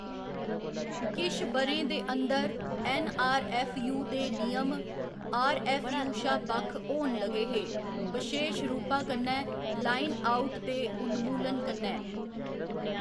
किश ब'रें दे अंदर, ऐन्नआरऐफ्फयू दे नियम आरऐफ्फयू शा बक्ख होन लगे हे, बशेश रूपा कन्नै लाइन आउट दे उन्मूलन कन्नै।